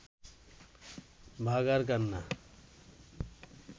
বাঘার কান্না